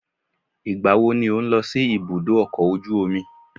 Ìgbàwo ló ń lọ sí ibùdó ọkọ̀ ojú omi?